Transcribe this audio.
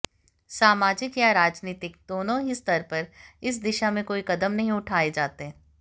सामाजिक या राजनीतिक दोनों ही स्तर पर इस दिशा में कोई कदम नहीं उठाए जाते